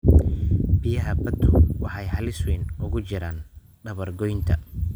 Biyaha baddu waxay halis weyn ugu jiraan dabar-goynta.